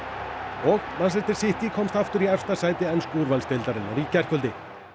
og City komst aftur í efsta sæti ensku úrvalsdeildarinnar í gærkvöldi